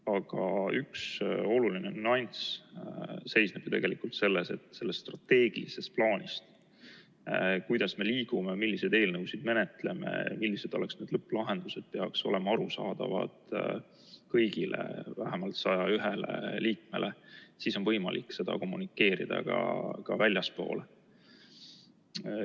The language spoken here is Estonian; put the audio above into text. Aga üks oluline nüanss seisneb ju tegelikult selles, et strateegiline plaan, kuidas me liigume, milliseid eelnõusid menetleme, millised oleksid need lõpplahendused, peaks olema arusaadav kõigile, vähemalt 101 liikmele, siis on võimalik seda kommunikeerida ka väljaspool.